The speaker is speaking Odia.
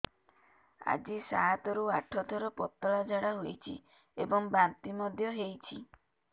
ଆଜି ସାତରୁ ଆଠ ଥର ପତଳା ଝାଡ଼ା ହୋଇଛି ଏବଂ ବାନ୍ତି ମଧ୍ୟ ହେଇଛି